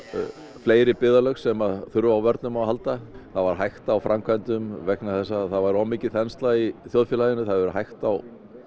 fleiri byggðarlög sem þurfa á vörnum að halda það var hægt á framkvæmdum vegna þess að það var of mikil þensla í þjóðfélaginu það hefur hægt á